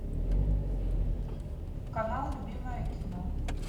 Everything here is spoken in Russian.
канал любимое кино